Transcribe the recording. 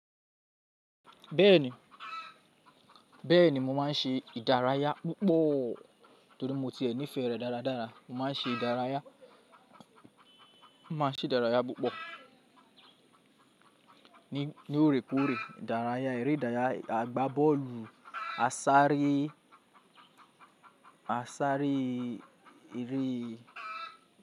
Bẹ́ẹ̀ni, bẹ́ẹ̀ni mo máa ń ṣe ìdárayá púpọ̀ torí mo tiẹ̀ ní ìfẹ́ rẹ̀ dáradára. Mo máa ń ṣe ìdárayá, mo máa ń ṣe ìdárayá púpọ̀ ní, ní óòrèkóòrè ìdárayá, eré ìdárayá, à gbá bọ́ọ̀lù, a sáré, a sáré eré.